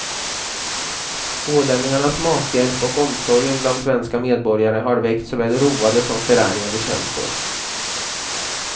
Ålänningarnas mathjälp och omsorgen bland svenska medborgare har väckt såväl roade som förargade känslor.